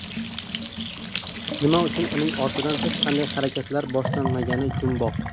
Nima uchun uning ortidan hech qanday harakatlar boshlanmagani jumboq .